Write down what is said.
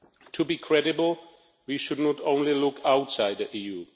To be credible, we should not only look outside the EU.